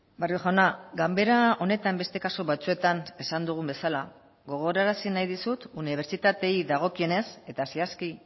barrio jauna ganbera honetan beste kasu batzuetan esan dugun bezala gogorarazi nahi dizut unibertsitateei dagokienez eta zehazki